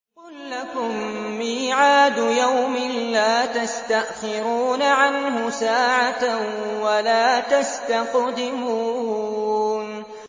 قُل لَّكُم مِّيعَادُ يَوْمٍ لَّا تَسْتَأْخِرُونَ عَنْهُ سَاعَةً وَلَا تَسْتَقْدِمُونَ